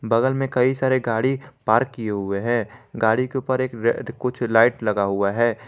बगल में कई सारे गाड़ी पार्क किए हुए हैं गाड़ी के ऊपर एक रेड कुछ लाइट लगा हुआ है।